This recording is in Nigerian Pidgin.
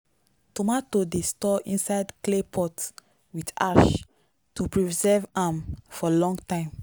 tomato dey store inside clay pot with ash to preserve am for long time.